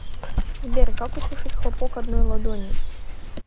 сбер как услышать хлопок одной ладони